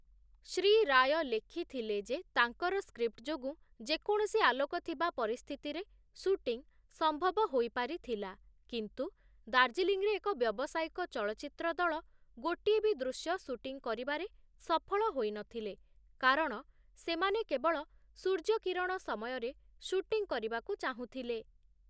ଶ୍ରୀ ରାୟ ଲେଖିଥିଲେ ଯେ ତାଙ୍କର ସ୍କ୍ରିପ୍ଟ ଯୋଗୁ ଯେକୌଣସି ଆଲୋକ ଥିବା ପରିସ୍ଥିତିରେ ସୁଟିଂ ସମ୍ଭବ ହୋଇପାରିଥିଲା, କିନ୍ତୁ ଦାର୍ଜିଲିଂରେ ଏକ ବ୍ୟବସାୟିକ ଚଳଚ୍ଚିତ୍ର ଦଳ ଗୋଟିଏ ବି ଦୃଶ୍ୟ ସୁଟିଂ କରିବାରେ ସଫଳ ହୋଇନଥିଲେ, କାରଣ ସେମାନେ କେବଳ ସୂର୍ଯ୍ୟକିରଣ ସମୟରେ ସୁଟିଂ କରିବାକୁ ଚାହୁଁଥିଲେ ।